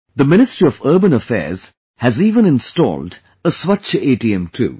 The Ministry of Urban Affairs has even installed a Swachh ATM too